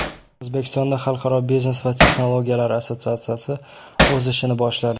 O‘zbekistonda Xalqaro biznes va texnologiyalar assotsiatsiyasi o‘z ishini boshladi.